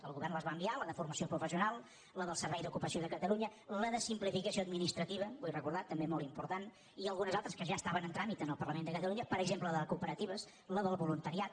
el govern les va enviar la de formació professional la del servei d’ocupació de catalunya la de simplificació administrativa vull recordar·ho també molt important i algunes altres que ja estaven en tràmit en el parlament de catalunya per exemple la de cooperatives la del voluntariat